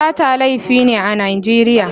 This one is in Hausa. Sata laifi ne a Najeriya.